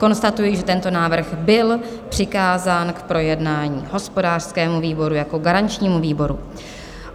Konstatuji, že tento návrh byl přikázán k projednání hospodářskému výboru jako garančnímu výboru.